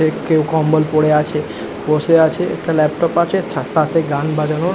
কেউ কম্বল পড়ে আছে বসে আছে একটা ল্যাপটপ আছে সাথে গান বাজানো--